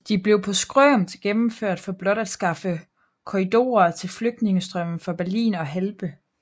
De blev på skrømt gennemført for blot at skaffe korridorer til flygtningestrømmen fra Berlin og Halbe